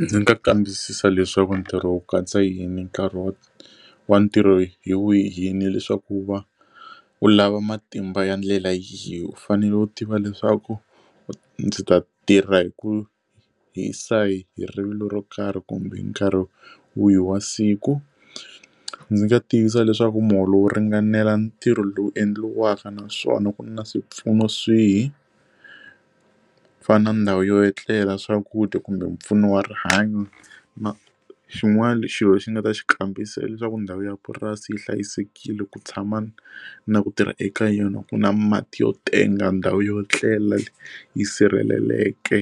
Ndzi nga kambisisa leswaku ntirho wu katsa yini nkarhi wa wa ntirho hi wu yini leswaku wu va wu lava matimba ya ndlela yi u fanele u tiva leswaku ndzi ta tirha hi ku hisa hi hi rivilo ro karhi kumbe hi nkarhi wihi wa siku ndzi nga tiyisisa leswaku muholo wo ringanela ntirho lowu endliwaka naswona ku na swipfuno swihi ku fana na ndhawu yo etlela swakudya kumbe mpfuno wa rihanyo ma xin'wana xilo xi nga ta xi kambisisa leswaku ndhawu ya purasi yi hlayisekile ku tshama na ku tirha eka yona ku na mati yo tenga ndhawu yo etlela yi sirheleleke